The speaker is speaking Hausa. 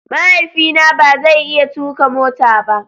Mahaifina ba zai iya tuka mota ba.